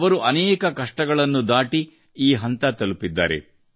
ಅವರು ಅನೇಕ ಕಷ್ಟಗಳನ್ನು ದಾಟಿ ಈ ಹಂತ ತಲುಪಿದ್ದಾರೆ